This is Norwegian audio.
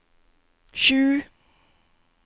sju